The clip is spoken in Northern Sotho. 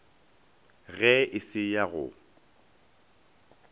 ge e se ya go